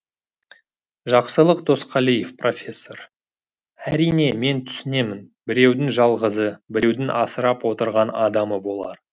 жақсылық досқалиев профессор әрине мен түсінемін біреудің жалғызы біреудің асырап отырған адамы болар